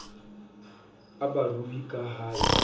a barui ka ha e